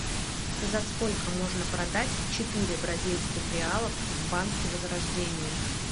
за сколько можно продать четыре бразильских реалов в банке возрождение